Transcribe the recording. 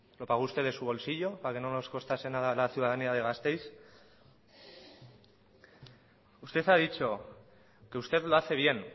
lo pagó usted de su bolsillo para que no nos costase nada a la ciudadanía de gasteiz usted ha dicho que usted lo hace bien